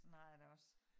Sådan har jeg det også